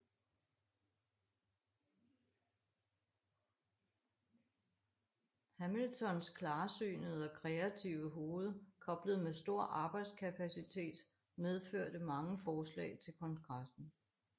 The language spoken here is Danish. Hamiltons klarsynede og kreative hoved koblet med stor arbejdskapacitet medførte mange forslag til Kongressen